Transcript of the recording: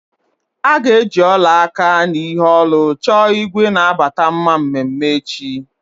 A ga-eji ọla aka na ihe olu chọọ igwe na-abata mma mmeme echi.